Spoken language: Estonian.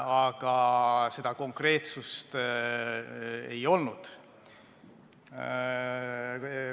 Aga seda konkreetsust ei olnud.